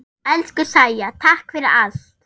Elsku Sæja, takk fyrir allt.